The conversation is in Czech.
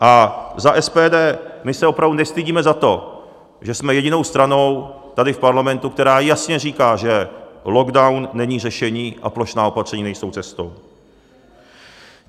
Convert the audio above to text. A za SPD, my se opravdu nestydíme za to, že jsme jedinou stranou tady v parlamentu, která jasně říká, že lockdown není řešení a plošná opatření nejsou cestou.